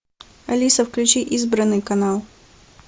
алиса включи избранный канал